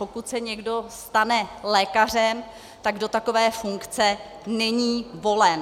Pokud se někdo stane lékařem, tak do takové funkce není volen.